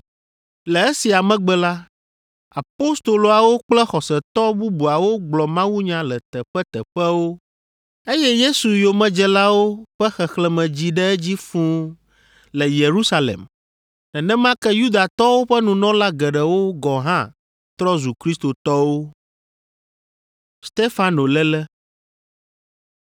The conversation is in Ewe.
Le esia megbe la, apostoloawo kple xɔsetɔ bubuawo gblɔ mawunya le teƒeteƒewo, eye Yesu yomedzelawo ƒe xexlẽme dzi ɖe edzi fũu le Yerusalem, nenema ke Yudatɔwo ƒe nunɔla geɖewo gɔ̃ hã trɔ zu kristotɔwo.